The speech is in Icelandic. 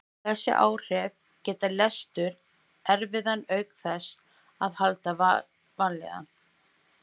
Þessi áhrif gera lestur erfiðan auk þess að valda vanlíðan.